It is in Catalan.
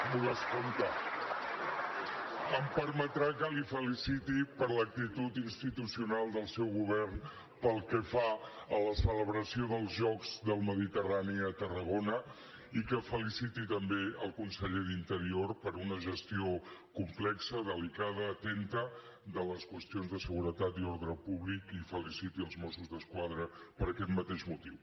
m’ho descompta em permetrà que el feliciti per l’actitud institucional del seu govern pel que fa a la celebració dels jocs del mediterrani a tarragona i que feliciti també el conseller d’interior per una gestió complexa delicada atenta de les qüestions de seguretat i ordre públic i feliciti els mossos d’esquadra per aquest mateix motiu